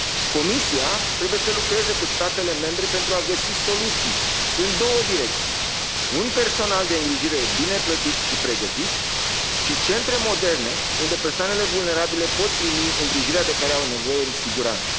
Comisia trebuie să lucreze cu statele membre pentru a găsi soluții în două direcții un personal de îngrijire bine plătit și pregătit și centre moderne unde persoanele vulnerabile pot primi îngrijirea de care au nevoie în siguranță.